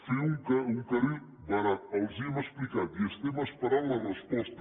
fer un carril barat els ho hem explicat i estem esperant la resposta